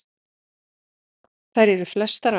Þær eru flestar á